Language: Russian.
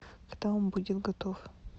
когда он будет готов